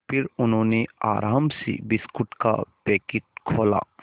फिर उन्होंने आराम से बिस्कुट का पैकेट खोला